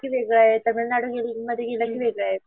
वेगळं आहे तामिळनाडूमध्ये गेलं की वेगळ आहे.